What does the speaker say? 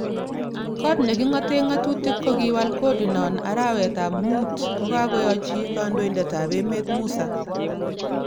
Kot neki ngoten ngotutik kokiwal kodi non arawetab mut kokakoyochi kondoidet tab emet Musa.